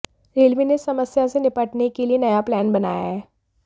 railway ने इस समस्या से निपटने के लिए नया प्लान बनाया है